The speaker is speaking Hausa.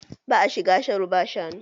Ba'a shiga sharo ba shanu?